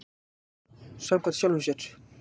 Samkvæmur sjálfum sér.